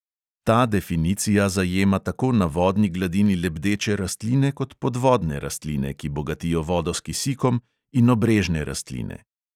Ta definicija zajema tako na vodni gladini lebdeče rastline kot podvodne rastline, ki bogatijo vodo s kisikom, in obrežne rastline.